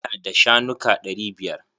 Ina da shanuka ɗari biyar.